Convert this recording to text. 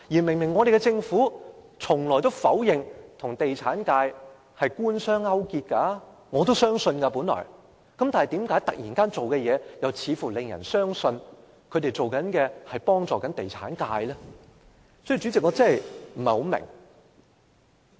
另一方面，政府明明一向否認與地產界官商勾結——我本來也相信——為何政府突然有此行動，令人相信他們偏幫地產界？